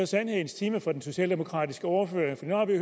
sandhedens time for den socialdemokratiske ordfører